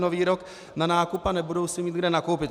Nový rok na nákup a nebudou si mít kde nakoupit.